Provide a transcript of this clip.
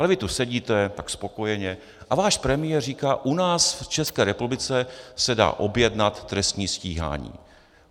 Ale vy tu sedíte tak spokojeně a váš premiér říká: u nás v České republice se dá objednat trestní stíhání.